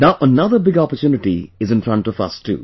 Now another big opportunity is in front of us too